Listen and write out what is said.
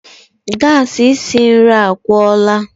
gas esi nri agwụla